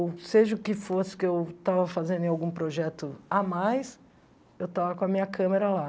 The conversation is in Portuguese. Ou seja o que fosse que eu estava fazendo em algum projeto a mais, eu estava com a minha câmera lá.